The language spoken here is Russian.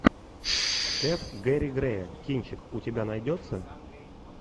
ф гэри грея кинчик у тебя найдется